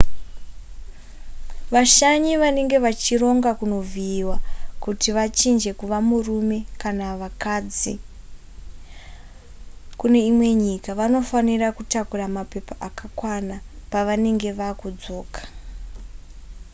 vashanyi vanenge vachironga kunovhiyiwa kuti vachinje kuva varume kana vakadzi kune imwe nyika vanofanira kutakura mapepa akakwana pavanenge vakudzoka